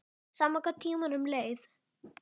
Sama hvað tímanum leið.